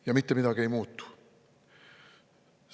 Ja mitte midagi ei muutu.